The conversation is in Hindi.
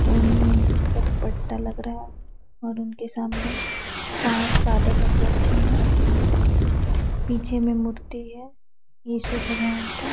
और ये नेट का रूपट्टा लग रहा है और उनके सामने पांच फादर लोग बैठे है पीछे मैं मूर्ति है यीशु भगवान का --